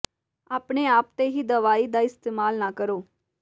ਆਪਣੇ ਆਪ ਤੇ ਹੀ ਦਵਾਈ ਦਾ ਇਸਤੇਮਾਲ ਨਾ ਕਰੋ